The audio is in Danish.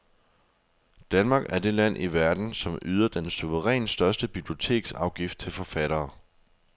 Danmark er det land i verden, som yder den suverænt største biblioteksafgift til forfattere.